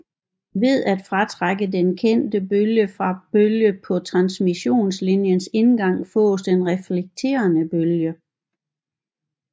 Ved at fratrække denne kendte bølge fra bølge på transmissionslinjens indgang fås den reflekterede bølge